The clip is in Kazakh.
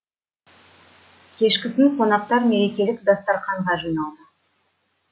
кешкісін қонақтар мерекелік дастарқанға жиналды